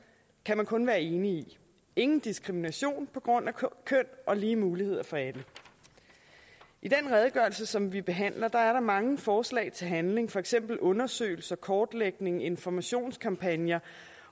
kan man kun være enig i ingen diskrimination på grund af køn og lige muligheder for alle i den redegørelse som vi behandler er der mange forslag til handling for eksempel undersøgelser kortlægning informationskampagner